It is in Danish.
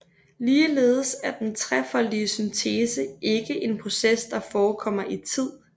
Ligeledes er den trefoldige syntese ikke en proces der forekommer i tid